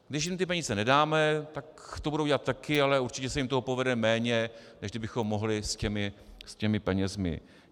Když jim ty peníze nedáme, tak to budou dělat taky, ale určitě se jim toho povede méně, než kdybychom mohli s těmi penězi.